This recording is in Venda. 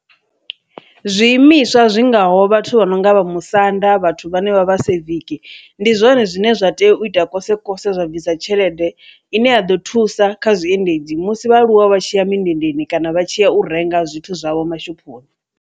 Zwiimiswa zwingaho vhathu vha no nga vha musanda vhathu vhane vha vha siviki, ndi zwone zwine zwa tea u ita kose kose zwa bvisa tshelede ine ya ḓo thusa kha zwiendedzi musi vha aluwa vha tshiya mundendeni kana vha tshiya u renga zwithu zwavho mashophoni.